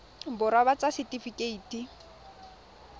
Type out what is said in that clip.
borwa ba ba ts setifikeite